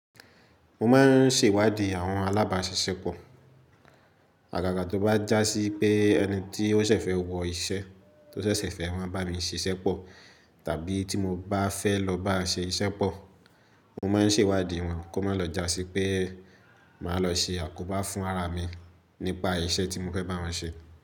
Mo máa ń ṣèwádìí àwọn alábáṣiṣẹ́ pọ̀. Àgàgà tó bá jásí pé ẹni tí ó ṣẹ̀ṣẹ̀ fẹ́ wọ iṣẹ́ tó ṣẹ̀ṣẹ̀ fẹ́ na bá mi ṣiṣẹ́ pọ̀, tàbí tí mo bá fẹ́ lọ bá ṣẹ ìṣẹ́ pọ̀, mo máa ń ṣèwádìí wọn kó má lọ jásí pé màá lọ ṣe àkóbá fún ara mi nípa iṣẹ́ tí mo fẹ́ bá wọn ṣe.